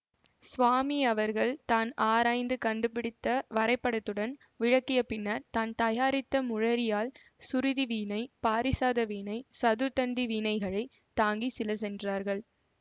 சுவாமி அவர்கள் தான் ஆராய்ந்து கண்டுபிடித்த வரைபடத்துடன் விளக்கிய பின்னர் தான் தயாரித்த முளரியாழ் சுருதி வீணை பாரிசாத வீணை சதுர்த்தண்டி வீணைகளைத் தாங்கி சிலர் சென்றார்கள்